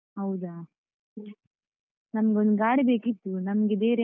ಹೌದಾ? ನಂಗ್ ಒಂದ್ ಗಾಡಿ ಬೇಕಿತ್ತು, ನಂಗೆ ಬೇರೆ.